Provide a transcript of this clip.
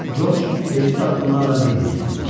Corc bejid addımlarla Lenniyə yaxınlaşdı.